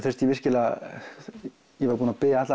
þurfti ég virkilega ég var búinn að biðja alla